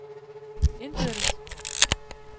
indbyrdes